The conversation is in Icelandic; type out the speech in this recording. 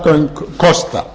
göng kosta